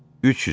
300-ə.